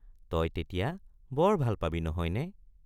তই তেতিয়া বৰ ভাল পাবি নহয় নে?